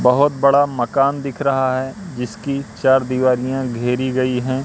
बहोत बड़ा मकान दिख रहा है जिसकी चार दिवारियां घेरी गई हैं।